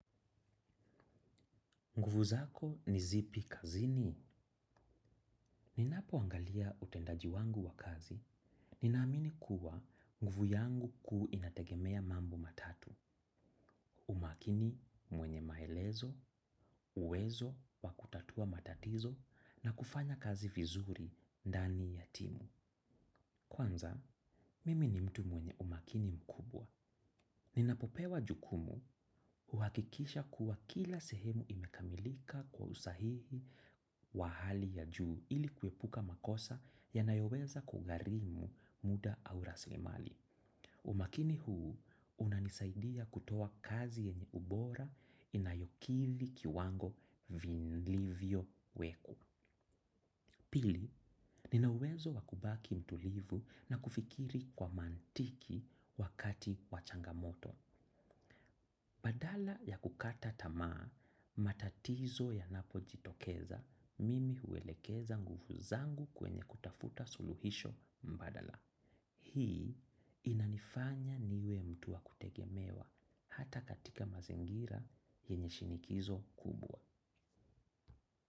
Nguvu zako ni zipi kazini. Ninapoangalia utendaji wangu wa kazi. Ninaamini kuwa nguvu yangu kuu inategemea mambo matatu. Umakini mwenye maelezo, uwezo, wa kutatua matatizo na kufanya kazi vizuri ndani ya timu. Kwanza, mimi ni mtu mwenye umakini mkubwa. Ninapopewa jukumu huhakikisha kuwa kila sehemu imekamilika kwa usahihi wa hali ya juu ili kuepuka makosa yanayoweza kugharimu muda au rasilimali. Umakini huu unanisaidia kutoa kazi yenye ubora inayokidhi kiwango vilivyowekwa. Pili, nina uwezo wa kubaki mtulivu na kufikiri kwa mantiki wakati wa changamoto. Badala ya kukata tamaa, matatizo yanapojitokeza, mimi huwelekeza nguvu zangu kwenye kutafuta suluhisho mbadala. Hii inanifanya niwe mtu wa kutegemewa hata katika mazingira yenye shinikizo kubwa.